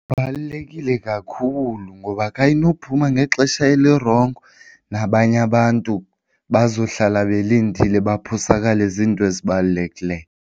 Kubalulekile kakhulu ngoba xa inophuma ngexesha elirongo nabanye abantu bazohlala belindile baphosakale zinto ezibalulekileyo.